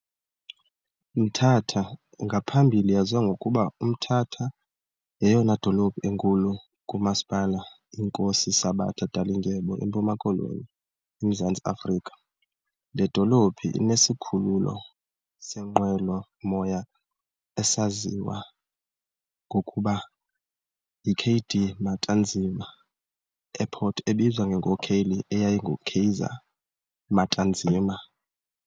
Mthatha, ngaphambili yaziwa ngokuba uMtata, - yeyona dolophu enkulu kuMasipala iNkosi Sabata Dalindyebo eMpuma-Koloni eMzantsi Afrika. Le dolophu inesikhululo seenqwelo-moya esasaziwa ngokuba yi K.D. Matanzima Airport ebizwa ngenkokheli eyayingu Kaiser Matanzima.